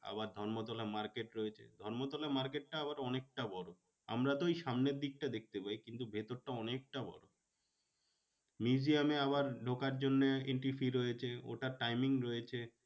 আবার ধর্মতলা market রয়েছে। Dharmatala market টা আবার অনেকটা বড়ো। আমরা তো ওই সামনের দিকটা দেখতে পাই কিন্তু ভেতরটা অনেকটা বড়ো। museum এ আবার ঢোকার জন্যে entry fee রয়েছে ওটার timing রয়েছে।